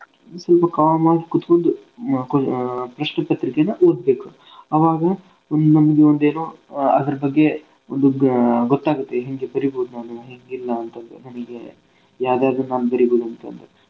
ಸ್ವಲ್ಪ calm ಆಗ್ ಕುತ್ಗೊಂಡು ಅಹ್ ಪ್ರಶ್ನೆ ಪತ್ರಿಕೆೇನ ಓದ್ಬೇಕು. ಅವಾಗ ಒಂದ್ ನಮ್ಗೆ ಒಂದ್ ಏನೋ ಅದ್ರ ಬಗ್ಗೆ ಒಂದು ಗೊ~ ಗೊತ್ತಾಗುತ್ತೆ ಹೆಂಗೆ ಬರೀಬ್ಹುದ್ ನಾನೂ ಹೆಂಗಿಲ್ಲಾ ಅಂತಂದ್ ನಮಿಗೆ ಯಾದ್ ಯಾದ್ ನಾನ್ ಬರೀಬೌದ್ ಅಂತಂದ್.